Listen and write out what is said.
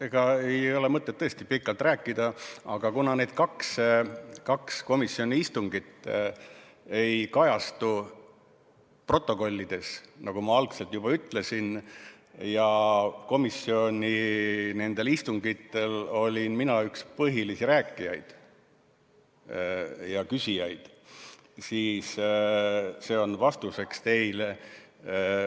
Ega ei ole tõesti mõtet pikalt rääkida, aga kuna need kaks komisjoni istungit ei kajastu protokollides, nagu ma juba ütlesin, ja nendel komisjoni istungitel olin mina üks põhilisi rääkijaid ja küsijaid, siis see on vastuseks teile.